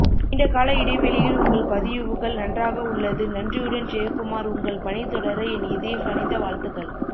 நீண்டகால இடைவெளியில் உங்கள் பதியுவுகள் நன்றாக உள்ளது நன்றியுடன் ஜெயக்குமார் உங்கள் பனி தொடர என் இதயம் கனிந்த வாழ்த்துக்கள்